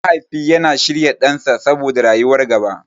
Mahaifi yana shirya ɗansa saboda rayuwar gaba.